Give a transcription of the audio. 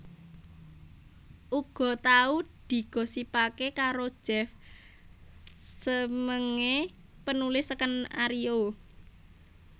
Uga tau digosipaké karo Jeff Smeenge penulis skenario